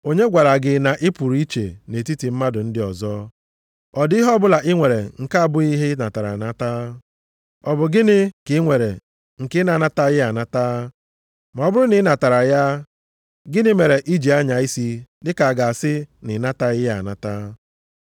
Onye gwara gị na ị pụrụ iche nʼetiti mmadụ ndị ọzọ? Ọ dị ihe ọbụla i nwere nke abụghị ihe ị natara anata? Ọ bụ gịnị ka i nwere nke ị na-anataghị anata? Ma ọ bụrụ na i natara ya, gịnị mere i ji anya isi dịka a ga-asị na ị nataghị ya anata?